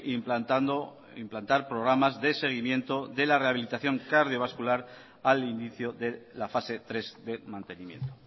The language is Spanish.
implantando implantar programas de seguimiento de la rehabilitación cardiovascular al inicio de la fase tres de mantenimiento